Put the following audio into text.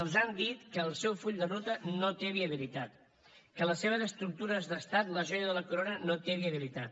els han dit que el seu full de ruta no té viabilitat que les seves estructures d’estat la joia de la corona no té viabilitat